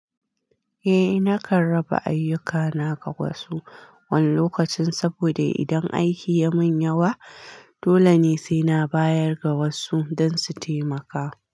Eh, nakan raba ayyukana ga wasu wani lokacin saboda idan aiki ya min yawa, dole ne sai na bayar ga wasu don su taimaka.